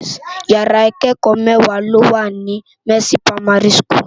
Ìyàrá ikèékò mèwá ló wá ni Mercy Primary School